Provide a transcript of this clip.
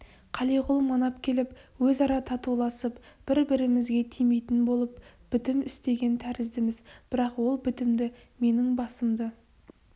қалиғұл манап келіп өзара татуласып бір-бірімізге тимейтін болып бітім істеген тәріздіміз бірақ ол бітімді менің басымды